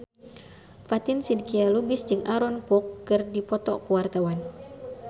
Fatin Shidqia Lubis jeung Aaron Kwok keur dipoto ku wartawan